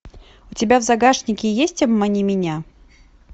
у тебя в загашнике есть обмани меня